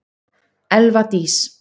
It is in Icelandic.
Elva Dís.